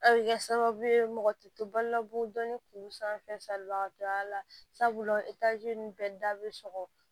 A bɛ kɛ sababu ye mɔgɔ tɛ to balo la bɔ dɔnni k'u sanfɛ salibagatɔ y'a la sabula etazi ni bɛ da bɛ sɔgɔ